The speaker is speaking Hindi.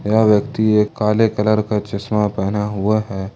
यह व्यक्ति एक काले कलर का चश्मा पहना हुआ है।